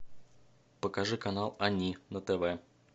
покажи канал они на тв